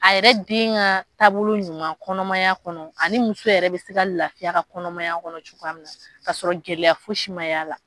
A yɛrɛ den ka taabolo ɲuman kɔnɔmaya kɔnɔ ani muso yɛrɛ bɛ se ka lafiy'a ka kɔnɔmaya kɔnɔ cogoya min na ka sɔrɔ gɛlɛya fosi ma y'a la.